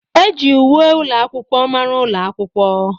Eji uwe ụlọ akwụkwọ mara ụlọ akwụkwọ.